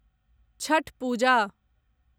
Chhath Puja